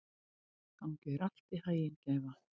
Gangi þér allt í haginn, Gæfa.